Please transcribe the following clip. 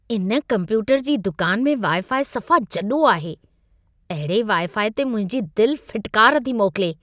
इन कंप्यूटर जी दुकान में वाई-फाई सफ़ा जॾो आहे। अहिड़े वाई-फाई ते मुंहिंजी दिल फिटकार थी मोकिले।